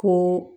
Ko